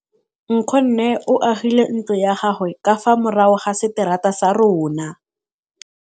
Nkgonne o agile ntlo ya gagwe ka fa morago ga seterata sa rona.